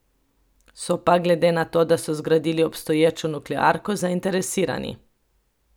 So pa, glede na to, da so zgradili obstoječo nuklearko, zainteresirani.